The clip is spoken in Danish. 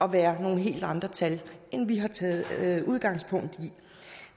at være nogle helt andre tal end vi har taget udgangspunkt i